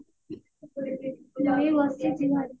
ଏଇ ବସିଛି ଘରେ